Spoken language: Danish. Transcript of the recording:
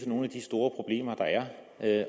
at